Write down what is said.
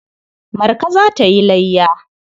Marka za ta yi layya.